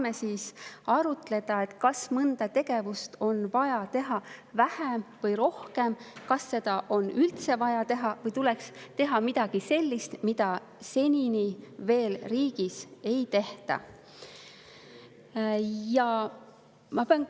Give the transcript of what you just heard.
… me saame arutleda, kas mõnda tegevust on vaja teha vähem või rohkem, kas seda on üldse vaja teha või tuleks teha midagi sellist, mida senini veel riigis tehtud ei ole, mida ei tehta.